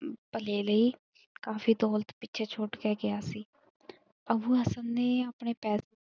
ਭਲੇ ਲਈ ਕਾਫ਼ੀ ਦੌਲਤ ਪਿੱਛੇ ਛੁੱਟ ਕੇ ਗਿਆ ਸੀ। ਅੱਬੂ ਹਸਨ ਨੇ ਆਪਣੇ ਪੇਸੇ।